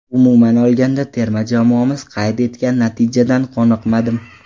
Umuman olganda, terma jamoamiz qayd etgan natijadan qoniqmadim.